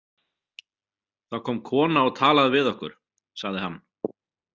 Það kom kona og talaði við okkur, sagði hann.